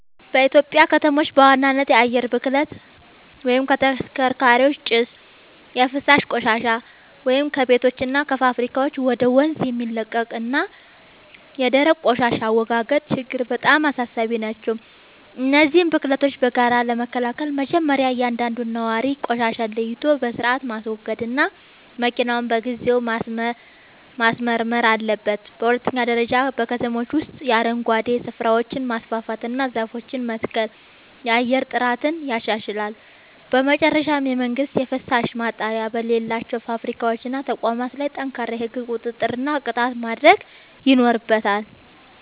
በኢትዮጵያ ከተሞች በዋናነት የአየር ብክለት (ከተሽከርካሪዎች ጭስ)፣ የፍሳሽ ቆሻሻ (ከቤቶችና ከፋብሪካዎች ወደ ወንዝ የሚለቀቅ) እና የደረቅ ቆሻሻ አወጋገድ ችግሮች በጣም አሳሳቢ ናቸው። እነዚህን ብክለቶች በጋራ ለመከላከል መጀመርያ እያንዳንዱ ነዋሪ ቆሻሻን ለይቶ በሥርዓት ማስወገድና መኪናውን በየጊዜው ማስመርመር አለበት። በሁለተኛ ደረጃ በከተሞች ውስጥ የአረንጓዴ ስፍራዎችን ማስፋፋትና ዛፎችን መትከል የአየር ጥራትን ያሻሽላል። በመጨረሻም መንግሥት የፍሳሽ ማጣሪያ በሌላቸው ፋብሪካዎችና ተቋማት ላይ ጠንካራ የሕግ ቁጥጥርና ቅጣት ማድረግ ይኖርበታል።